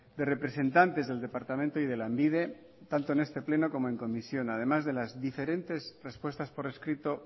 de representantes del departamento y de lanbide tanto en este pleno como en comisión además de las diferentes respuestas por escrito